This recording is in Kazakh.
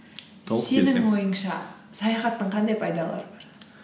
ойыңша саяхаттың қандай пайдалары бар